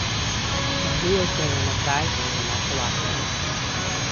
Može je odpeljal na kraj, kjer je našel Afriko.